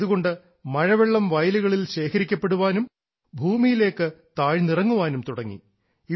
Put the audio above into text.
ഇതുകൊണ്ട് മഴവെള്ളം വയലുകളിൽ ശേഖരിക്കപ്പെടാനും ഭൂമിയിലേക്ക് താഴ്ന്ന് ഇറങ്ങാനും തുടങ്ങി